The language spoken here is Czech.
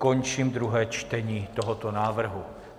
Končím druhé čtení tohoto návrhu.